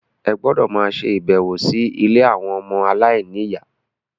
Ẹ gbọ́dọ̀ máa ṣe ìbẹ̀wò sí ilé àwọn ọmọ aláìníyà.